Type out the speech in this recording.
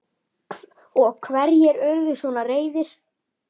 Og hverjir urðu svona reiðir?